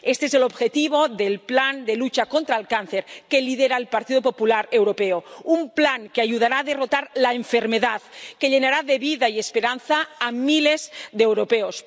Este es el objetivo del plan de lucha contra el cáncer que lidera el Partido Popular Europeo, un plan que ayudará a derrotar la enfermedad, que llenará de vida y esperanza a miles de europeos.